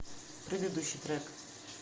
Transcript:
предыдущий трек